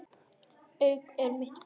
Haukar eru mitt félag.